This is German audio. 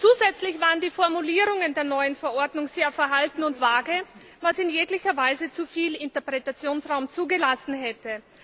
Zusätzlich waren die Formulierungen der neuen Verordnung sehr verhalten und vage, was in jeglicher Weise zu viel Interpretationsraum zugelassen hätte.